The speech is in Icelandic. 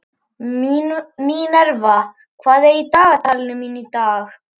Minerva, hvað er á dagatalinu mínu í dag?